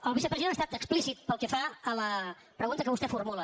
el vicepresident ha estat explícit pel que fa a la pregunta que vostè formula